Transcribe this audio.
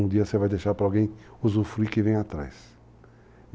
Um dia você vai deixar para alguém usufruir o que vem atrás.